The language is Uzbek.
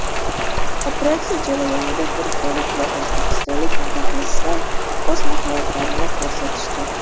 Operatsiya jarayonida turkiyalik va o‘zbekistonlik mutaxassislar o‘z mahoratlarini ko‘rsatishdi.